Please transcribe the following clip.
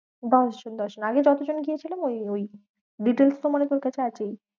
দশজন দশজন আগে যতজন গিয়েছিলাম ওই ওই details তো মানে তোর কাছে আছেই?